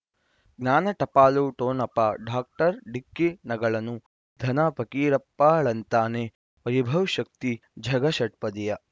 ಜ್ಞಾನ ಟಪಾಲು ಠೊಣಪ ಡಾಕ್ಟರ್ ಢಿಕ್ಕಿ ಣಗಳನು ಧನ ಫಕೀರಪ್ಪ ಳಂತಾನೆ ವೈಭವ್ ಶಕ್ತಿ ಝಗಾ ಷಟ್ಪದಿಯ